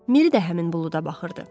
Miri də həmin buluda baxırdı.